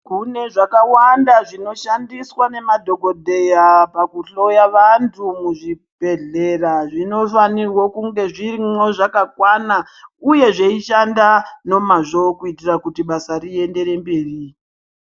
Kune zvakawanda zvinoshandiswa nemadhokodheya pakuhloya vanthu muzvibhedhlera zvinofanire kunge zvirimwo zvakakwana uye zveishanda nemao kuitira kuti basa riendere mberi.